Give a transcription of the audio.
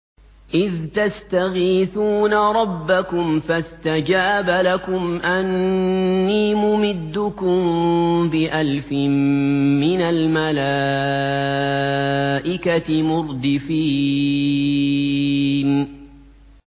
إِذْ تَسْتَغِيثُونَ رَبَّكُمْ فَاسْتَجَابَ لَكُمْ أَنِّي مُمِدُّكُم بِأَلْفٍ مِّنَ الْمَلَائِكَةِ مُرْدِفِينَ